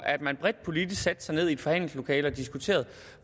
at man bredt politisk skulle sætte sig ned i et forhandlingslokale og diskutere